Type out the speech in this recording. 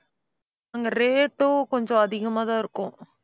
அங்க rate உம் கொஞ்சம் அதிகமாதான் இருக்கும்.